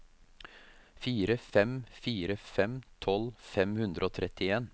fire fem fire fem tolv fem hundre og trettien